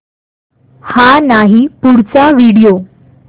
हा नाही पुढचा व्हिडिओ